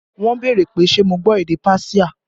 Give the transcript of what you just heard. Wọn béèrè pé ṣe mo gbọ́ èdè páṣíà